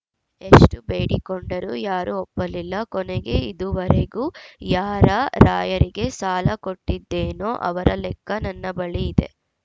ಎಷ್ಟುಬೇಡಿಕೊಂಡರೂ ಯಾರೂ ಒಪ್ಪಲಿಲ್ಲ ಕೊನೆಗೆ ಇದುವರೆಗೂ ಯಾರಾರ‍ಯರಿಗೆ ಸಾಲ ಕೊಟ್ಟಿದ್ದೆನೋ ಅವರ ಲೆಕ್ಕ ನನ್ನ ಬಳಿ ಇದೆ